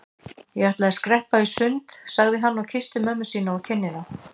Ég ætla að skreppa í sund sagði hann og kyssti mömmu sína á kinnina.